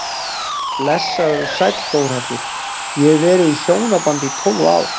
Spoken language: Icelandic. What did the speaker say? Blessaður og sæll Þórhallur, ég hef verið í hjónabandi í tólf ár.